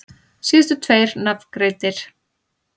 Síðustu tveir nafngreindir